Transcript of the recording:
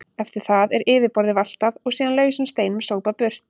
Eftir það er yfirborðið valtað og síðan lausum steinum sópað burt.